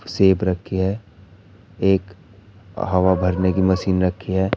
सेप रखी है एक हवा भरने की मशीन रखी है।